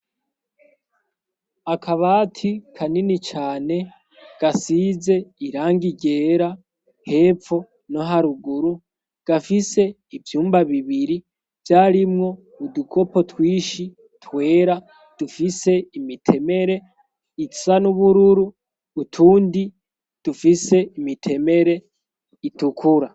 akabati kanini cyane gasize irangigera hepfo no haruguru gafise ivyumba bibiri byarimwo udukopo twishi twera dufise imitemere itsa n'ubururu utundi dufise imitemere itukura